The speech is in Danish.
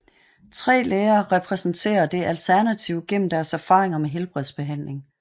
Tre læger repræsenterer det alternative gennem deres erfaringer med helhedsbehandling